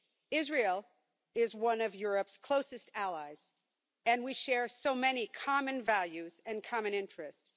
Israel is one of Europe's closest allies and we share so many common values and common interests.